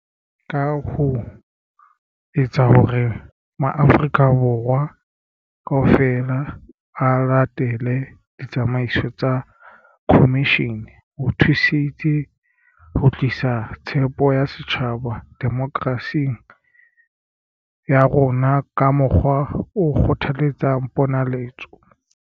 Ka ho etsa hore ma-Afrika Borwa kaofela a latele ditsamaiso tsa khomishene, ho thusitse ho tlisa tshepo ya setjhaba demokerasing ya rona ka mokgwa o kgothaletsang ponaletso.